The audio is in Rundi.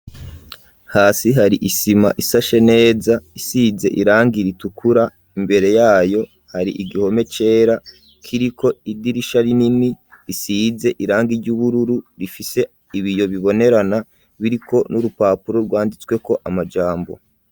hasi hari isima isashe neza, isize irangi ritukura, imbere yayo hari igihome cera, kiriko idirisha rinini risize irangi ry'ubururu , rifise ibiyo bibonerana biriko n'urupapuro rwanditsweko amajambo.